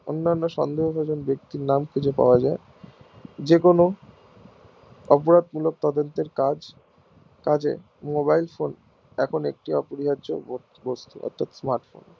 অনান্য সন্দেহভাজন ব্যাক্তির নাম খুঁজে পাওয়া যাই যেকোনো অপরাধ মূলক তদন্তের কাজ কাজে mobile phone এখন একটি অপরিহার্য বস্তু বা মাধ্যম